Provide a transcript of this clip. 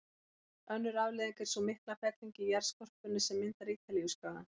Önnur afleiðing er sú mikla felling í jarðskorpunni sem myndar Ítalíuskagann.